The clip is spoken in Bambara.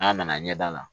N'a nana ɲɛda la